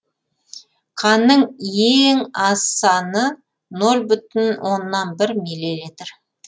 канның ең аз саны нөл бүтін оннан бір миллилитр